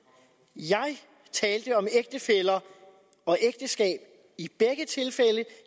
jeg talte om ægtefæller og ægteskab i begge tilfælde